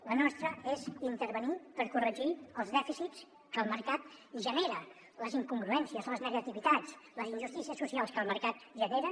la nostra és intervenir per corregir els dèficits que el mercat genera les incongruències les negativitats les injustícies socials que el mercat genera